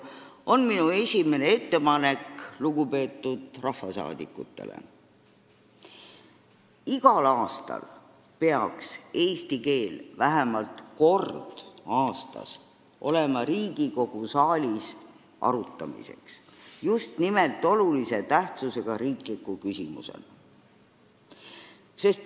Nii ongi minu esimene ettepanek lugupeetud rahvasaadikutele, et igal aastal peaks eesti keel vähemalt kord aastas olema Riigikogu saalis kõne all just nimelt olulise tähtsusega riikliku küsimusena.